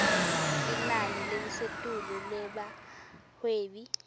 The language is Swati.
linani lelisetulu lebahwebi